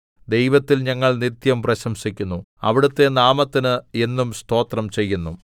ദൈവത്തിൽ ഞങ്ങൾ നിത്യം പ്രശംസിക്കുന്നു അവിടുത്തെ നാമത്തിന് എന്നും സ്തോത്രം ചെയ്യുന്നു സേലാ